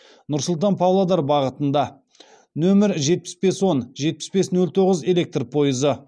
нұр сұлтан павлодар бағытында нөмір жетпіс бес он жетпіс бес нөл тоғыз электр пойызы